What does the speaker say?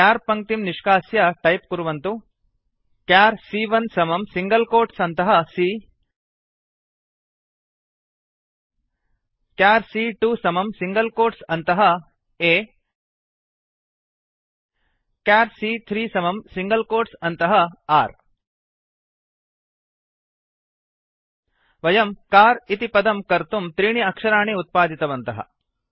क्यार् पङ्क्तिं निष्कास्य टैप् कुर्वन्तु चर् सी॰॰1 समं सिङ्गल् कोट्स् अन्तः c चर् सी॰॰2 समं सिङ्गल् कोट्स् अन्तः a चर् सी॰॰3 समं सिङ्गल् कोट्स् अन्तः r वयम् कार् कार् इति पदं कर्तुं त्रीणि अक्षराणि उत्पादितवन्तः